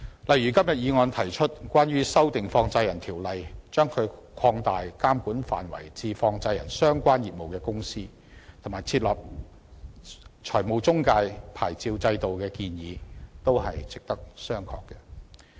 例如，今天議案提出修訂《放債人條例》，將其監管範圍擴大至經營與放債相關業務的公司，以及設立財務中介牌照制度的建議，也是值得商榷的。